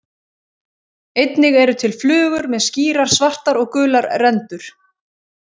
Einnig eru til flugur með skýrar svartar og gular rendur.